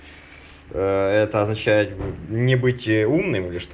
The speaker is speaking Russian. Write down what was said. это означает не быть умным